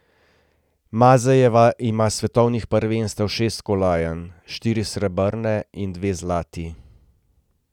Mazejeva ima s svetovnih prvenstev šest kolajn, štiri srebrne in dve zlati.